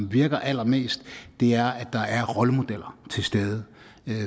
virker allerbedst er at der er rollemodeller til stede